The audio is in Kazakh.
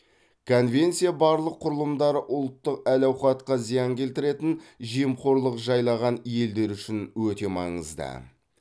конвенция барлық құрылымдары ұлттық әл ауқатқа зиян келтіретін жемқорлық жайлаған елдер үшін өте маңызды